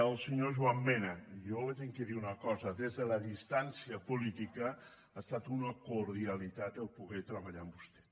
al senyor joan mena jo li haig de dir una cosa des de la distància política ha estat una cordialitat poder treballar amb vostè